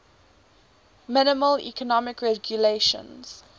minimal economic regulations